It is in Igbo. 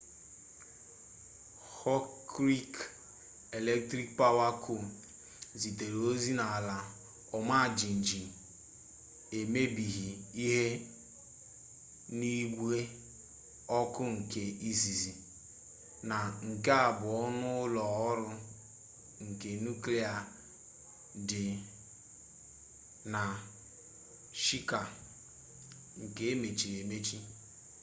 hokuriku electrik pawa co zitere ozi na ala ọma jijiji emebighi ihe n'igwe ọkụ nke izizi na nke abụọ n'ụlọ ọrụ ike nuklia dị na shika nke emechiri emechi